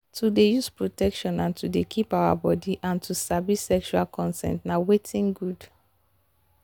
to dey use protection and to dey keep our body and to sabi sexual consent na watin good